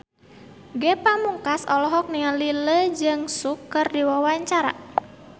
Ge Pamungkas olohok ningali Lee Jeong Suk keur diwawancara